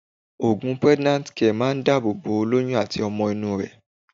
Òògùn Pregnant Care máa dábò bo ólóyún àti ọmọ inú rẹ̀.